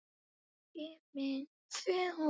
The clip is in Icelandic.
Sá skellur kom of seint.